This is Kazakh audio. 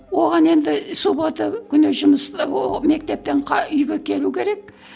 оған енді суббота күні жұмыс ы мектептен үйге келу керек